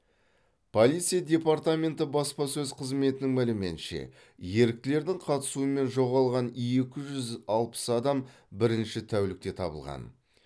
полиция департаменті баспасөз қызметінің мәліметінше еріктілердің қатысуымен жоғалған екі жүз алпыс адам бірінші тәулікте табылған